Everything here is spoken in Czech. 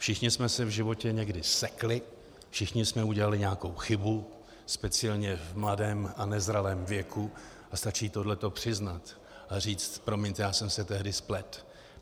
Všichni jsme se v životě někdy sekli, všichni jsme udělali nějakou chybu, speciálně v mladém a nezralém věku, a stačí tohle přiznat a říct: Promiňte, já jsem se tehdy spletl.